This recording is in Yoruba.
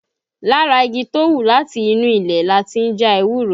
Lára igi tó hù láti inú ilẹ̀ lati ń já ewúro